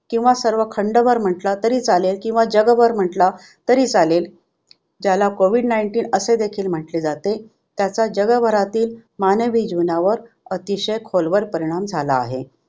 किंवा सर्व खंडभर म्हटला तरी चालेल किंवा जगभर म्हटला तरी चालेल ज्याला कोविड nineteen असे देखील म्हटले जाते त्याचा जगभरातील मानवी जीवनावर अतिशय खोलवर परिणाम झाला आहे.